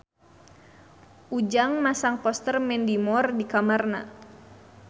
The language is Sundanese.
Ujang masang poster Mandy Moore di kamarna